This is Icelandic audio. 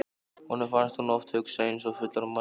Honum fannst hún oft hugsa eins og fullorðin manneskja.